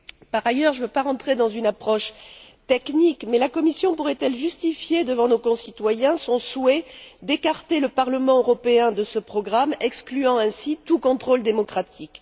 Par ailleurs, je ne veux pas rentrer dans une approche technique mais la Commission pourrait elle justifier devant nos concitoyens son souhait d'écarter le Parlement européen de ce programme, excluant ainsi tout contrôle démocratique?